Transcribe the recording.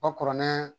O kuranɛ